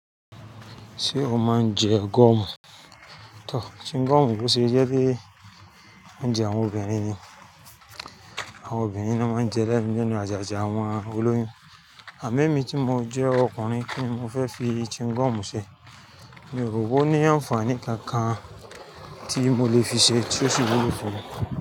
Ṣé o máa ń jẹ gọ́mù? Tọ, chi ngọ́mù ló ṣe jẹ́ ri oúnje àwọn obìnrin ni. Àwọn obìnrin ló máa ń jẹ ẹ lẹ́nu. Lẹ́nu àjàjà àwọn olóyún. Àmọ́ emí tí mo jẹ́ ọkùnrin kí ni mo fẹ́ fi chi ngọ́mù ṣe? Mi ò rò wó ní àǹfààní kankan tí mo lè fi ṣe tí ó sì wúlò fún mi.